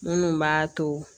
Minnu b'a to